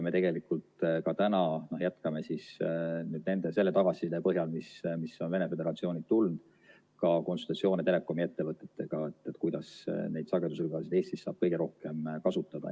Me tegelikult ka täna jätkame selle tagasiside põhjal, mis on Venemaa Föderatsioonilt tulnud, konsultatsioone telekomi ettevõtetega, et kuidas neid sagedusribasid saab Eestis kõige rohkem kasutada.